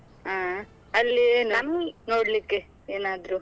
ಹಾ ಅಲ್ಲಿ ನೋಡ್ಲಿಕ್ಕೆ ಏನಾದ್ರೂ?